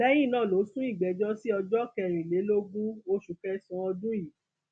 lẹyìn náà ló sún ìgbẹjọ sí ọjọ kẹrìnlélógún oṣù kẹsànán ọdún yìí